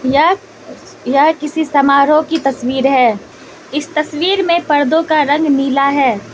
यह यह किसी समारोह की तस्वीर है इस तस्वीर में पर्दों का रंग नीला हैं।